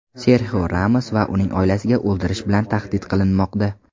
Serxio Ramos va uning oilasiga o‘ldirish bilan tahdid qilinmoqda.